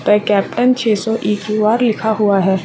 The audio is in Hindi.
कैप्टन छह सौ इ.क्यू .आर. लिखा हुआ है।